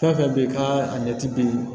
Fɛn fɛn bɛ yen ka a ɲɛ ci bi